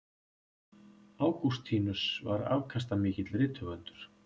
Ágústínus var afkastamikill rithöfundur.